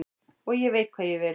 Og ég veit hvað ég vil.